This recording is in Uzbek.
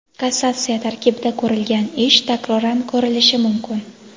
kassatsiya tartibida ko‘rilgan ish takroran ko‘rilishi mumkin.